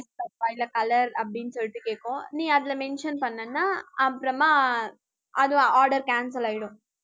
இல்ல color அப்படின்னு சொல்லிட்டு கேக்கும். நீ அதுல mention பண்ணேன்னா, அப்புறமா, அது order cancel ஆயிடும்